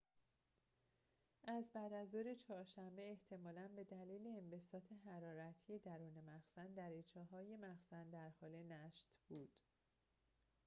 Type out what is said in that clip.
از بعدازظهر چهارشنبه احتمالاً به دلیل انبساط حرارتی درون مخزن دریچه‌های مخزن در حال نشت بود